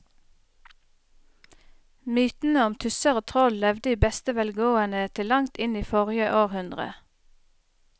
Mytene om tusser og troll levde i beste velgående til langt inn i forrige århundre.